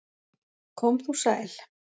Kom þú sæl!